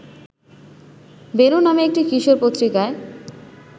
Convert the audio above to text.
বেণু নামে একটি কিশোর পত্রিকায়